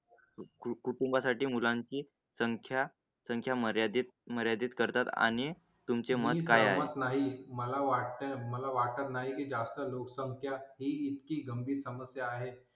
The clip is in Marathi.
कुटुंबासाठी मुलांची संख्या संख्या मर्यादित मर्यादीत करतात आणि तुमचे मत काय? आहे. मला वाटतं मला वाटत नाही जास्त लोकसंख्या ही इतकी गंभीर समस्या आहे.